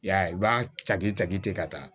I y'a ye i b'a caki taji ka taa